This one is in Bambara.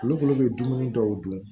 Olu kɔni bɛ dumuni dɔw dun